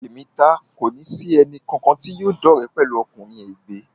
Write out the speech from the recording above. Èmi taá kòní sì ẹnì kankan tí yóò dọ́re pẹ̀lú ọkùnrin ègbé